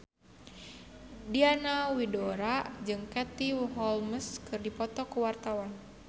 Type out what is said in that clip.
Diana Widoera jeung Katie Holmes keur dipoto ku wartawan